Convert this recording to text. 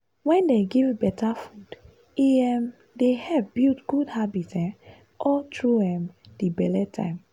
wen dem give better food e um dey help build good habit um all through um di belle time.